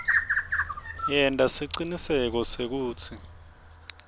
yenta siciniseko sekutsi